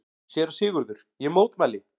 SÉRA SIGURÐUR: Ég mótmæli!